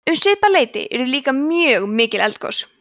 um svipað leyti urðu líka mjög mikil eldgos